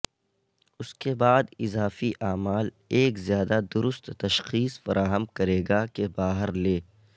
اس کے بعد اضافی اعمال ایک زیادہ درست تشخیص فراہم کرے گا کہ باہر لے